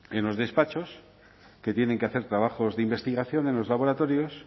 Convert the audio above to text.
en los despachos que tienen que hacer trabajos de investigación en los laboratorios